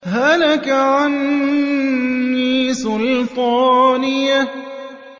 هَلَكَ عَنِّي سُلْطَانِيَهْ